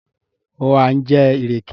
ó ha ńjẹ ìrèké?